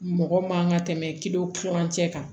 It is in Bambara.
Mɔgɔ man ka tɛmɛ tilancɛ kan